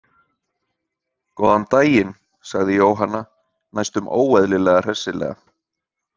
Góðan daginn, sagði Jóhanna næstum óeðlilega hressilega.